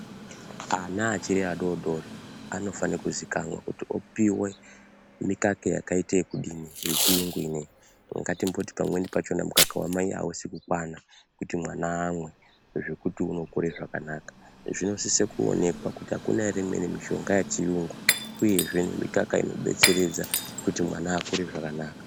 Ana achiri adoodori anofane kuzivikanwa kuti opiwe mikaka yakaite yekudini yechiyungu ino iyi. Ngatimboti pamweni pachona mukaka wamai hausi kukwana kuti mwana amwe zvokuti unokure zvakanaka. Zvinosise kuonekwa kuti hakuna here imweni mishonga yechiyungu uyezve mikaka inodetseredza kuti mwana akure zvakanaka.